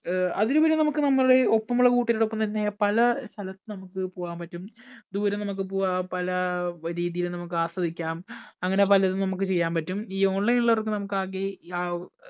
അഹ് അതിലുപരി നമുക്ക് നമ്മുടെ ഒപ്പമുള്ള കൂട്ടുകാരോടൊപ്പം തന്നെ നമുക്ക് പലസ്ഥലത്ത് പോകാൻ പറ്റും. ദൂരെ നമുക്ക് പോകാം പല രീതിയിൽ നമുക്ക് ആസ്വദിക്കാം അങ്ങനെ പലതും നമുക്ക് ചെയ്യാൻ പറ്റും ഈ online ഉള്ളവർക്ക് നമുക്ക് ആകെ ആവ്